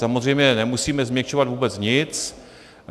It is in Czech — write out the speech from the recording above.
Samozřejmě nemusíme změkčovat vůbec nic.